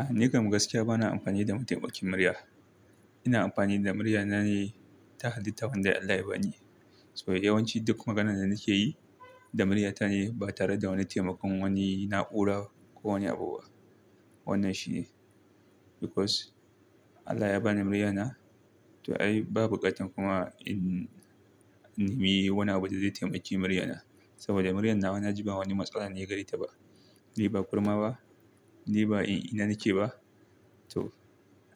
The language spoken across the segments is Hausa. A ni kam gaskiya bana amfani da mataimakin murya. Ina amfani da muryata ne ta halitta wadda Allah ya bani. Saboda yawanci duk maganar da nake yi da muryata ne ba tare da wani taimakon wani na'ura ko wani abu ba. Wannan shi ne because Allah ya bani muryata. To ai babu bukatar kuma in nemi wani abun da zai taimaki muryata. Saboda muryan nawa na ji ba wata matsala ne gare ta ba. Ni ba kurma ba, ni ba in ina nake ba to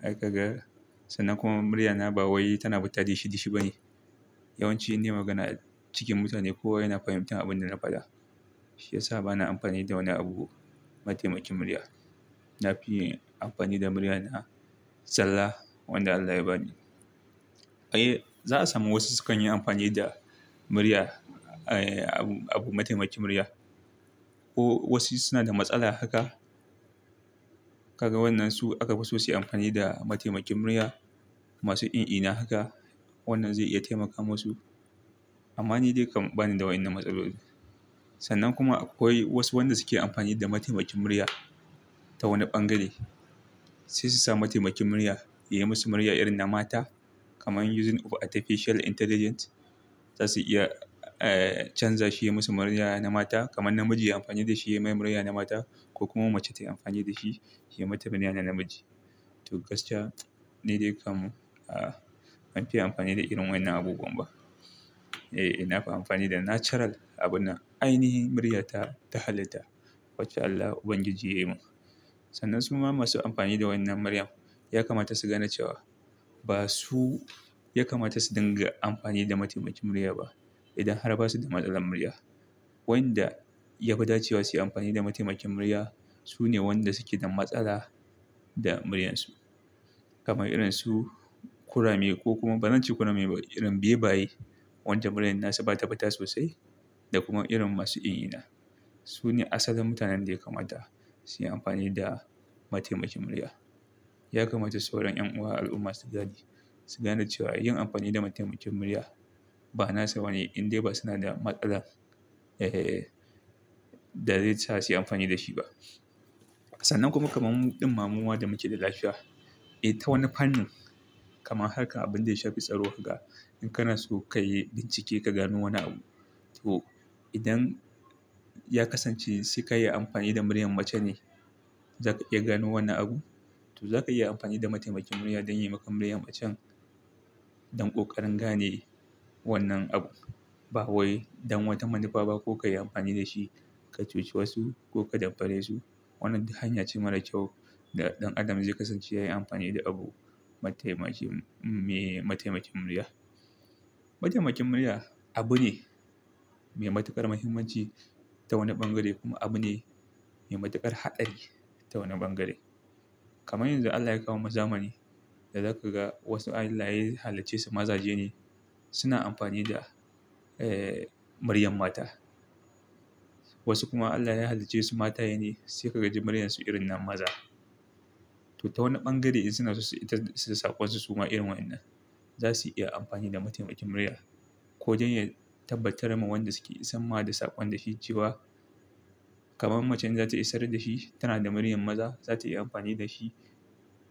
haka ga sannan kuma muryana ba wai tana fita dishi -dishi ba ne. Yawanci in nayi magana cikin mutane kowa yana fahimtar abin da na faɗa. Shi ya sa bana amfani da wani abu mataimakin murya. Na fi amfani da muryana zalla wanda Allah ya bani. Eh za a samu wasu sukan yi amfani da murya, eh abu mataimakin murya. Ko wasu suna da matsala haka. Kaga wannan su aka fi so su yi amfani da mataimakin murya masu in-ina haka. Wannan zai iya taimaka masu. Amma ni dai kam bani da waɗannan matsaloli. Sannan kuma akwai wasu wanda suke amfani da mataimakin murya ta wani bangare. Sai su sa mataimakin murya yayi musu murya irin na mata kamar using of artificial intelligence. Za su iya, eh canza shi ya musu murya na mata kamar namiji yayi amfani da shi yayi mai murya na mata ko kuma mace ta yi amfani da shi ya mata murya na namiji. To gaskiya ni dai kam a ban fiye amfani da irin waƴannan abubuwan ba. Eh, eh na fi amfani da natural abun nan. Ainihi muryata ta halitta wacce Allah ubangiji yayi mun. Sannan suma masu amfani da wannan murya ya kamata su gane cewa ba su, ya kamata su dinga amfani da mataimakin murya ba idan har ba su da matsalar murya. Waƴanda ya fi dacewa su yi amfani da mataimakin murya su ne wanda suke da matsala da muryansu. Kaman irin su kurame ko kuma bazance kurame ba irin bebaye wanda muryan nasu ba ta fita sosai da kuma irin masu in-ina. Su ne asalin mutanen da ya kamata su yi amfani da mataimakin murya. Ya kamata sauran 'yan uwa al'umma su gane, su gane cewa yin amfani da mataimakin murya ba nasu bane indai ba suna da matsalar, eh, da zai sa su yi amfani da shi ba. Sannan kuma kamar ɗin muma da muke da lafiya. Eh ta wani fannin kamar haka abin da ya shafi tsaro ga in kana so ka yi bincike ka gano wani abu. To idan ya kasance sai ka yi amfani da muryar mace ne za ka iya gano wannan abu. To za ka iyi amfani da mataimakin murya don yayi maka muryar macen don ƙoƙarin gane wannan abu. Ba wai don wata manufa ba ko ka yi amfani da shi ka cuci wasu ko ka damfare su. Wannan duk hanya ce mara kyau da ɗan adam zai kasance ya yi amfani da abu mataimakin, me mataimakin murya. Mataimakin murya abu ne me matuƙar muhimmanci ta wani bangare kuma abu ne me matuƙar haɗari ta wani bangare. Kamar yanzu Allah ya kawo mana zamani da za ka ga wasu a Allah ya hallicce su mazaje ne suna amfani da, eh muryar mata. Wasu kuma Allah ya hallice su mataye ne sai ka ji muryarsu irin na maza. To ta wani bangare in suna so su isar da saƙonsu suma irin wannan. Za su iya amfani da mataimakin murya ko don ya tabbatar ma wanda suke isan ma da saƙon da shi cewa kamar macen zata isar da shi tana da muryar maza. Za ta iya amfani da shi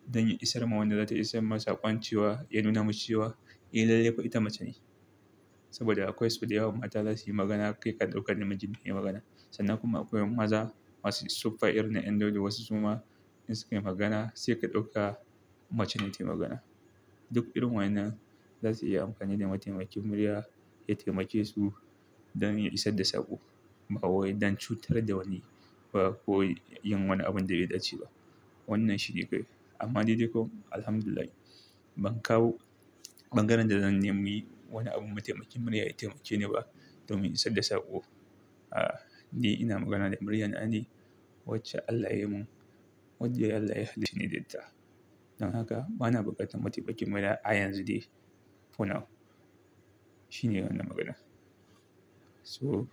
don ya isar ma wanda za ta isar ma saƙon cewa ya nuna mashi cewa eh lallai fa ita mace ne. Saboda akwai sau da yawa mata zasu yi magana kai ka dauka namiji ne yake magana. Sannan kuma akwai maza masu suffa irin na ƴandaudu wasu suma in sukai magana sai ka dauka mace ne ta yi magana. Duk irin waƴannan za su iya amfani da mataimakin murya ya taimake su don ya isar da saƙo. Ba wai don cutar da wani ba ko yin wani abin da bai dace ba. Wannan shi ne kai. Amma ni dai ko Alhamdulillah ban kawo ɓangaren da zan nemi wani abun mataimakin murya ya taimakeni ba domin isar da saƙo. A, ni ina magana da murya na ne wacce Allah ya yi mun wacce Allah ya hallice ni da ita. Don haka bana buƙatar mataimakin murya a yanzu dai for now. Shi ne wannan magana. So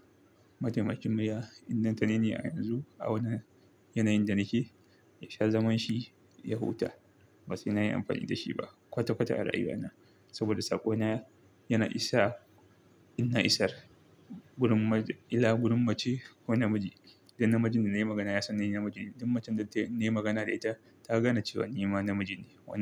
mataimakin murya in don tani ne a yanzu a wannan yanayin da nake ya sha zaman shi ya huta. Ba sai na yi amfani da shi ba kwata- kwata a rayuwa na. Saboda saƙo na yana isa ina isar wurin maza, illa wurin mace ko namiji. Duk namijin da na yi magana ya san ni namiji ne. Duk macen da nayi magana da ita ta gane cewa ni ma namiji ne wannan.